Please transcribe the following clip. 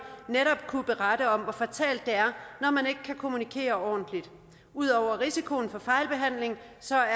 kunne netop berette om hvor fatalt det er når man ikke kan kommunikere ordentligt ud over at risikoen for fejlbehandling